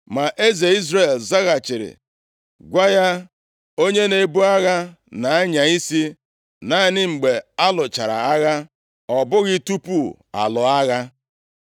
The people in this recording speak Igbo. Ma eze Izrel zaghachiri, “Gwa ya, ‘Onye na-ebu agha na-anya isi naanị mgbe a lụchara agha, ọ bụghị tupu a lụọ agha.’ ”